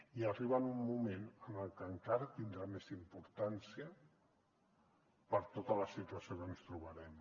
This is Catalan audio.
i arriba en un moment en què encara tindrà més importància per tota la situació que ens trobarem